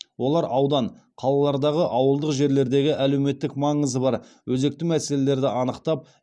олар аудан қалалардағы ауылдық жерлердегі әлеуметтік маңызы бар өзекті мәселелерді анықтап